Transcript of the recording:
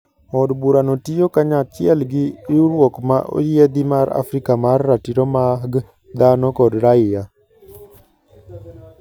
Od Burano tiyo kanyachiel gi riwuruok ma oyiedhi mar Afrika mar Ratiro mag Dhano kod Raia.